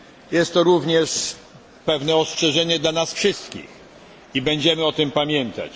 Jest to również pewne ostrzeżenie dla nas wszystkich i będziemy o tym pamiętać.